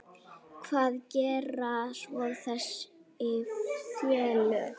Hvað gera svo þessi félög?